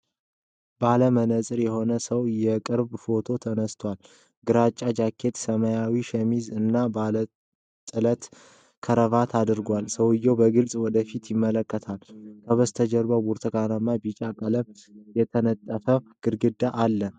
ባለ መነጽር የሆነ ሰው የቅርብ ፎቶ ተነስቷል። ግራጫ ጃኬት፣ ሰማያዊ ሸሚዝ እና ባለ ጥለት ክራቫት አድርጓል። ሰውየው በግልጽ ወደ ፊት ይመለከታል። ከበስተጀርባ በብርቱካንና ቢጫ ቀለም የተነጠፈ ግድግዳ አለ።